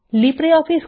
LibreOffice